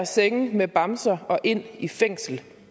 senge med bamser og ind i fængsel